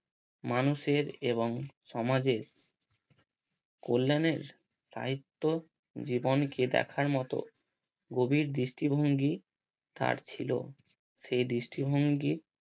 মানুষের এবং সমাজের কল্যাণের সাহিত্য জীবনকে দেখার মতো গভীর দৃষ্টিভঙ্গি তার ছিল। সে দৃষ্টিভঙ্গি